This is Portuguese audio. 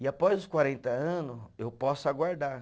E após os quarenta anos, eu posso aguardar